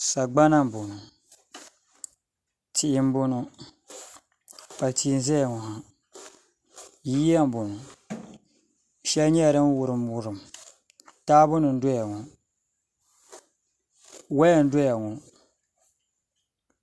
Sagbana n bɔŋɔ tia n bɔŋɔ kpukpali tia n ʒɛya ŋɔ ha yiya n bɔŋɔ shɛli nyɛla din wurim wurim taabo nim n doya ŋɔ woya n doya ŋɔ